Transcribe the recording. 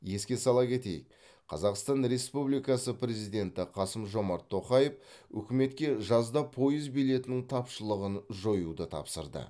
еске сала кетейік қазақстан республикасының президенті қасым жомарт тоқаев үкіметке жазда пойыз билетінің тапшылығын жоюды тапсырды